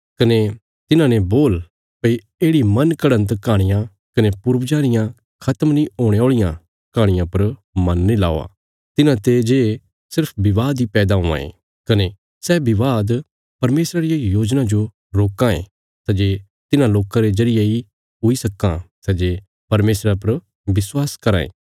कने तिन्हांने बोल भई येढ़ि मन घड़न्त कहाणियां कने पूर्वजां रियां खत्म नीं हुणे औल़ियां कहाणियां पर मन नीं लगाओ तिन्हांते जे सिर्फ विवाद इ पैदा हुआं ये कने सै विवाद परमेशरा रिया योजना जो रोकां ये सै जे तिन्हां लोकां रे जरिये इ हुई सक्कां सै जे परमेशरा पर विश्वास कराँ ये